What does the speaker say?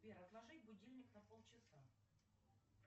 сбер отложить будильник на полчаса